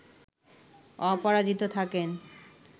অপরাজিত থাকেন